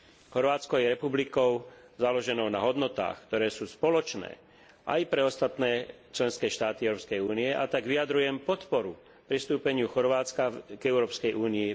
Chorvátsko je republikou založenou na hodnotách, ktoré sú spoločné aj pre ostatné členské štáty Európskej únie, a tak vyjadrujem podporu pristúpeniu Chorvátska k Európskej únii.